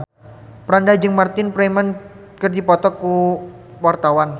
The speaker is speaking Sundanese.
Franda jeung Martin Freeman keur dipoto ku wartawan